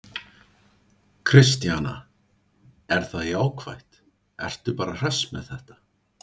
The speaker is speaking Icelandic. Kristjana: Er það jákvætt, ertu bara hress með þetta?